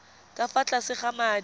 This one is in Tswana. ka fa tlase ga madi